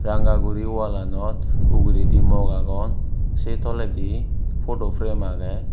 ranga guri wallanot ugurendi mug agon se tolendi photo frame agey.